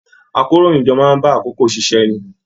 Àkòróyinjọ́ máa bá àkókò ṣiṣẹ ní.